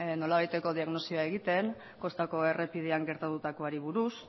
nolabaiteko diagnostikoa egiten kostako errepidean gertatutakoari buruz